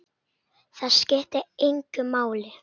Það skiptir engu máli.